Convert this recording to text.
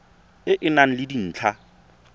e e nang le dintlha